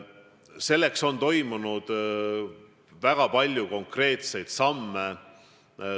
Selleks on astutud väga palju konkreetseid samme.